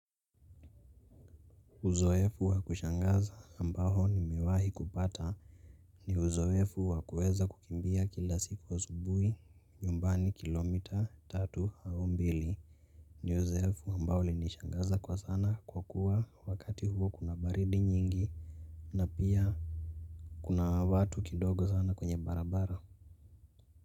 Uzoefu wa kushangaza ambao nimimewahi kupata ni uzoefu wa kuweza kukimbia kila siku asubuhi nyumbani kilomita tatu au mbili, ni uzoefu ambao ulinishangaza kwa sana kwa kuwa wakati huo kuna baridi nyingi na pia kuna watu kidogo sana kwenye barabara.